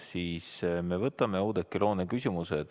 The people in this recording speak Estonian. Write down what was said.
Sellisel juhul võtame kõigepealt Oudekki Loone küsimuse.